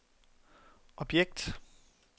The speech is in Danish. objekt